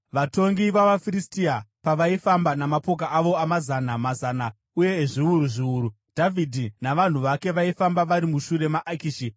Vatongi vavaFiristia pavaifamba namapoka avo amazana mazana uye ezviuru zviuru, Dhavhidhi navanhu vake vaifamba vari mushure maAkishi.